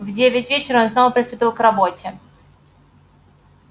в девять вечера он снова приступил к работе